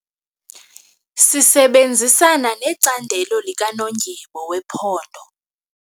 Sisebenzisana necandelo likanondyebo wephondo.